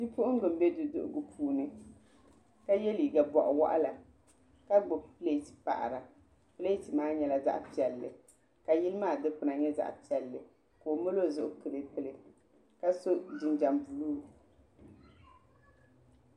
Bi puɣinga mbɛ duduhigu puuni ka ye liiga bɔɣi wɔɣila ka gbubi plati paɣira plati maa nyɛla zaɣi piɛlli ka yili maa dukpuna nyɛ zaɣi piɛlli ka o mali o zuɣu kliipi li ka so jinjam buluu.